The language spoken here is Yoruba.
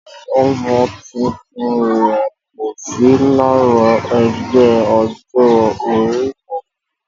Ọmọ tuntun rẹ̀ kò sí lára ẹgbẹ́ ọjọ́ orí kankan